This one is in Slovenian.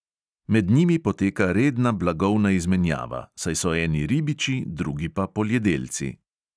Med njimi poteka redna blagovna izmenjava, saj so eni ribiči, drugi pa poljedelci.